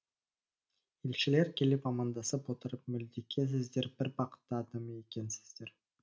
елшілер келіп амандасып отырып молдеке сіздер бір бақытты адам екенсіздер